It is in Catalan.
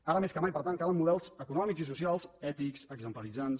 ara més que mai per tant calen models econòmics i socials ètics exemplaritzants